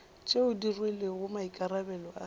tšeo di rwelego maikarabelo a